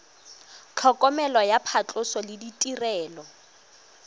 tlhokomelo ya phatlhoso le ditirelo